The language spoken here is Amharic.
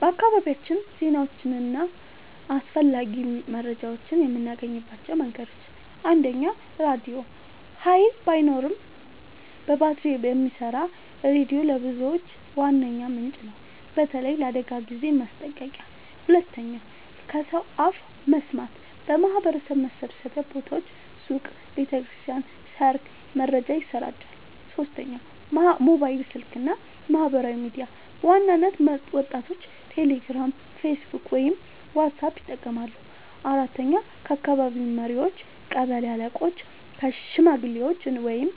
በአካባቢያችን ዜናዎችን እና አስፈላጊ መረጃዎችን የምናገኝባቸው መንገዶች፦ 1. ራድዮ – ኃይል ባይኖርም በባትሪ የሚሰራ ሬዲዮ ለብዙዎች ዋነኛ ምንጭ ነው፣ በተለይ ለአደጋ ጊዜ ማስጠንቀቂያ። 2. ከሰው አፍ መስማት – በማህበረሰብ መሰብሰቢያ ቦታዎች (ሱቅ፣ ቤተ ክርስቲያን፣ ሰርግ) መረጃ ይሰራጫል። 3. ሞባይል ስልክ እና ማህበራዊ ሚዲያ – በዋናነት ወጣቶች ቴሌግራም፣ ፌስቡክ ወይም ዋትስአፕ ይጠቀማሉ። 4. ከአካባቢ መሪዎች – ቀበሌ አለቆች፣ ሽማግሌዎች ወይም